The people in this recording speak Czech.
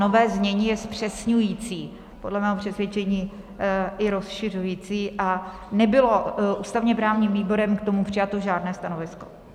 Nové znění je zpřesňující, podle mého přesvědčení i rozšiřující a nebylo ústavně-právním výborem k tomu přijato žádné stanovisko.